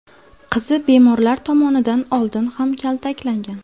Qizi bemorlar tomonidan oldin ham kaltaklangan.